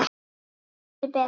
Lestu betur!